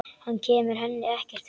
Hann kemur henni ekkert við.